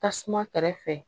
Tasuma kɛrɛfɛ